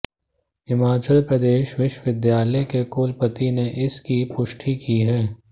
हिमाचल प्रदेश विश्वविद्यालय के कुलपति ने इस की पुष्टि की है